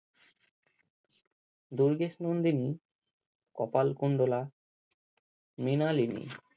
Durgesh Nandini Kapalkundala Mrinalini